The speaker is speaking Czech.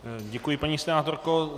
Děkuji, paní senátorko.